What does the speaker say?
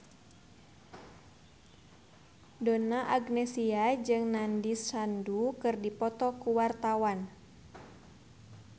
Donna Agnesia jeung Nandish Sandhu keur dipoto ku wartawan